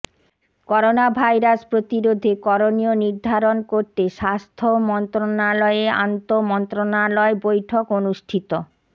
coronavirus প্রতিরোধে করণীয় নির্ধারণ করতে স্বাস্থ্য মন্ত্রণালয়ে আন্তমন্ত্রণালয় বৈঠক অনুষ্ঠিত